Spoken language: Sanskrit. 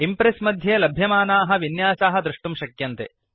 इम्प्रेस् मध्ये लभ्यमानाः विन्यासाः द्रष्टुं शक्यन्ते